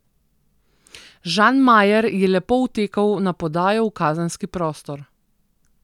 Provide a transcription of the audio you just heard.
Žan Majer je lepo vtekel na podajo v kazenski prostor.